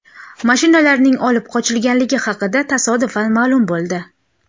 Mashinalarning olib qochilganligi haqida tasodifan ma’lum bo‘ldi.